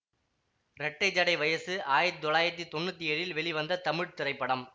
ரெட்டை ஜடை வயசு ஆயிரத்தி தொள்ளாயிரத்தி தொன்னூத்தி ஏழில் வெளிவந்த தமிழ் திரைப்படம்